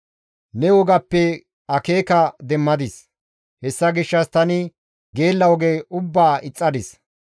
Ne wogappe akeeka demmadis; hessa gishshas tani geella oge ubbaa ixxadis.